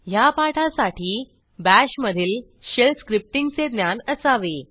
ह्या पाठासाठी BASHमधील शेल स्क्रिप्टींगचे ज्ञान असावे